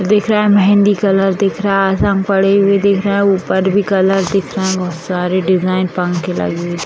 दिख रहा है मेंहदी कलर दिख रहा है सब पड़े हुए दिख रहे हैं ऊपर भी कलर दिख रहा है बहोत सारे डिजाइन पंखे लगे हुए --